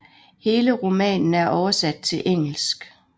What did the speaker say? Hele romanen er oversat til engelsk